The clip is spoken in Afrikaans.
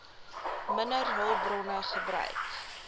minder hulpbronne gebruik